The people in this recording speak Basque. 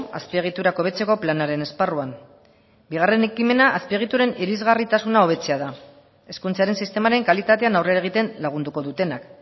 azpiegiturak hobetzeko planaren esparruan bigarren ekimena azpiegituren irisgarritasuna hobetzea da hezkuntzaren sistemaren kalitatean aurrera egiten lagunduko dutenak